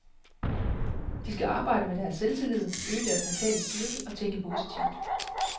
De skal arbejde med deres selvtillid, øge deres mentale styrke og tænke positivt.